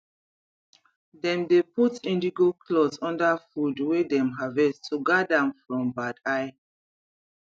dem dey put indigo cloth under food wey dem harvest to guard am from bad eye